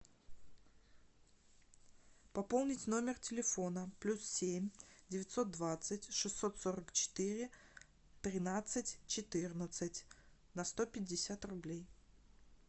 пополнить номер телефона плюс семь девятьсот двадцать шестьсот сорок четыре тринадцать четырнадцать на сто пятьдесят рублей